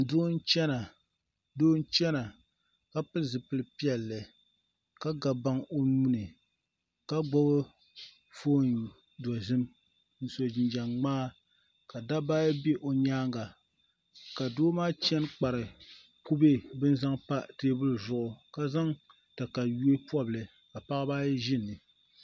Doo n chɛna ka pili zipili piɛlli ka ga baŋ o nuuni ka gbubi foon dozim n so jinjɛm ŋmaa ka dabba ayi bɛ o nyaanga ka doo maa chɛni kpari kubɛ bin zaŋ pa teebuli zuɣu ka zaŋ katawiya pobili ka paɣaba ayi ʒi ni